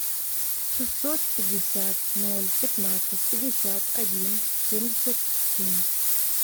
шестьсот пятьдесят ноль пятнадцать пятьдесят один семьдесят семь